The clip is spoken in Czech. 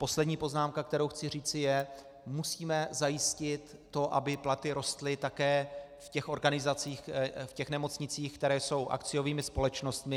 Poslední poznámka, kterou chci říci, je - musíme zajistit to, aby platy rostly také v těch organizacích, v těch nemocnicích, které jsou akciovými společnostmi.